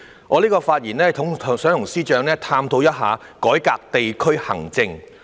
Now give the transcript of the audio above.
我的發言旨在跟司長探討改革地區行政。